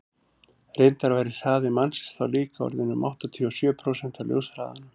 reyndar væri hraði mannsins þá líka orðinn um áttatíu og sjö prósent af ljóshraðanum